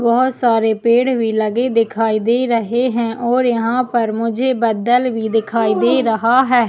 बहोत सारे पेड़ दिखाई दे रहे है और यहाँ पर मुझे बदल भी दिखाई दे रहा है।